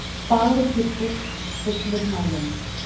Fagur kyrtill, fullur maginn